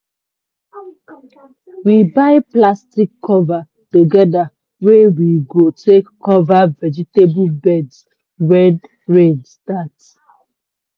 we buy plastic cover togeda wey we go take cover vegetable beds when rain start.